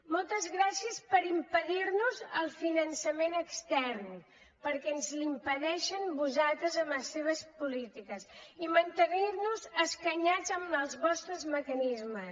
moltes grà cies per impedir nos el finançament extern perquè ens l’impediu vosaltres amb les vostres polítiques i mantenir nos escanyats amb els vostres mecanismes